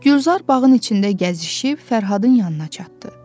Gülzar bağın içində gəzişib Fərhadın yanına çatdı.